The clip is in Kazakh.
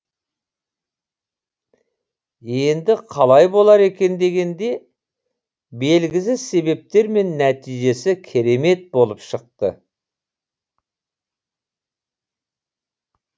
енді қалай болар екен дегенде белгісіз себептермен нәтижесі керемет болып шықты